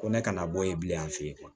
Ko ne kana bɔ yen bilen yan fɛ yen